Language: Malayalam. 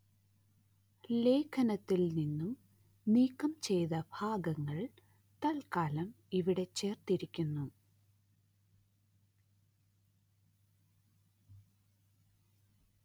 ലേഖനത്തില്‍ നിന്നും നീക്കം ചെയ്ത ഭാഗങ്ങള്‍ തല്‍ക്കാലം ഇവിടെ ചേര്‍ത്തിരിക്കുന്നു